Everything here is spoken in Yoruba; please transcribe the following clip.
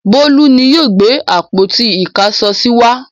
Bólú ni yóò gbé àpótí-ìkáṣọsí wá.